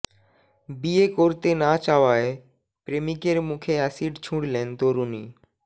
বিয়ে করতে না চাওয়ায় প্রেমিকের মুখে অ্যাসিড ছুঁড়লেন তরুণী